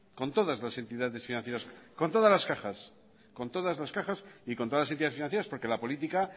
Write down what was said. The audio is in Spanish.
con todas las entidades financieras con todas las cajas y con todas las entidades financieras porque la política